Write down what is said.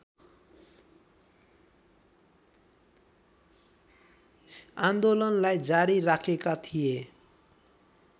आन्दोलनलाई जारी राखेका थिए